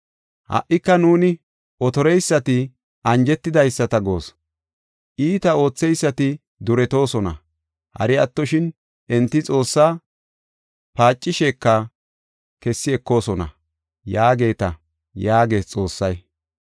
Ha77ika nuuni otoreyisata anjetidaysata goos; iita ootheysati duretoosona; hari attoshin enti Xoossaa paacisheka kessi ekoosona’ yaageeta” yaagees Xoossay.